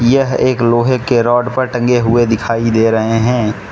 यह एक लोहे के रॉड पर टंगे हुए दिखाई दे रहे हैं।